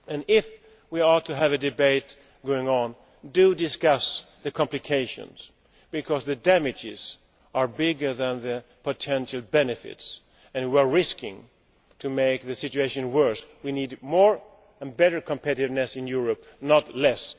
If we are to have an ongoing debate, do discuss the complications, because the damages are bigger than the potential benefits and we are risking making the situation worse. We need more and better competitiveness in Europe, not less.